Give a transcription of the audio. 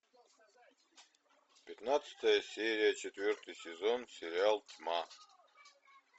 пятнадцатая серия четвертый сезон сериал тьма